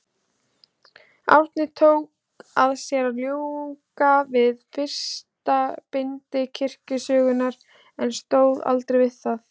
Árni tók að sér að ljúka við fyrsta bindi kirkjusögunnar, en stóð aldrei við það.